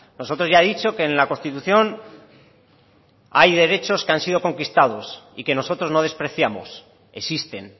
nosotros ya he dicho que en la constitución hay derechos que han sido conquistados y que nosotros no despreciamos existen